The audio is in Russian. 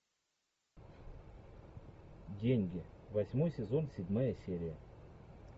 деньги восьмой сезон седьмая серия